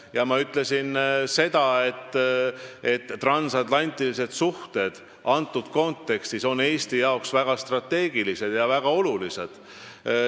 Ja ma ütlesin seda, et transatlantilised suhted on antud kontekstis Eesti jaoks väga strateegilised ja väga olulised.